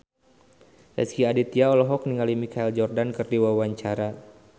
Rezky Aditya olohok ningali Michael Jordan keur diwawancara